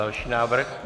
Další návrh.